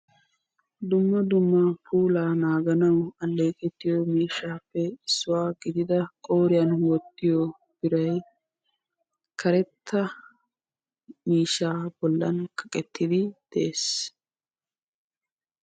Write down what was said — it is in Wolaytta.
Dumma dumma puulaba naaganawu go'ettiyi miishshaappe issuwaa gidida qooriyan wottiyo biray karetta miishshaara bollan kaqqettiidi de'ees.